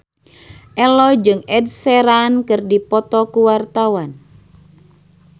Ello jeung Ed Sheeran keur dipoto ku wartawan